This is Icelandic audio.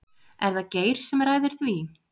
Er það Geir sem ræður því?